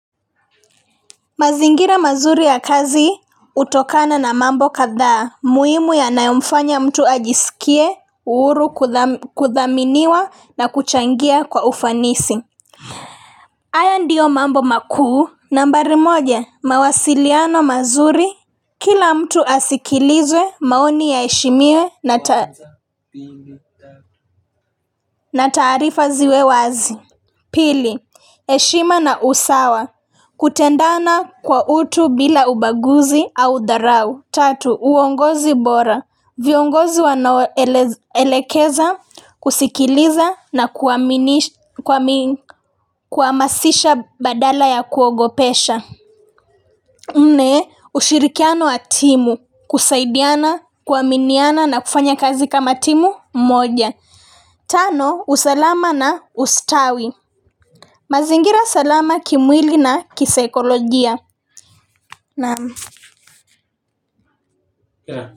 Mazingira mazuri ya kazi utokana na mambo kadhaa muhimu yanayomfanya mtu ajisikie uhuru kuthaminiwa na kuchangia kwa ufanisi haya ndiyo mambo makuu nambari moja mawasiliano mazuri kila mtu asikilizwe maoni yaheshimiwe na ta na tarifa ziwe wazi. Pili, heshima na usawa, kutendana kwa utu bila ubaguzi au dharau. Tatu uongozi bora viongozi wanaoelekeza zusikiliza na kuhamazisha badala ya kuogopesha nne, ushirikiano na timu, kusaidiana, kuaminiana na kufanya kazi kama timu moja. Tano, usalama na ustawi. Mazingira salama kimwili na kisaikolojia na.